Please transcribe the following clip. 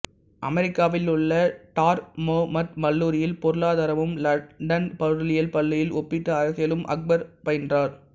அமெரிக்காவிலுள்ள Dartmouth கல்லூரியில் பொருளாதாரமும் London பொருளியல் பள்ளியில் ஒப்பீட்டு அரசியலும் அக்பர் பயின்றார்